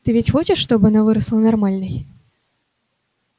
ты ведь хочешь чтобы она выросла нормальной